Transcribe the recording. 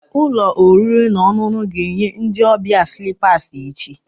Ụlọ oriri na ọṅụṅụ ga-enye ndị ọbịa slippers echi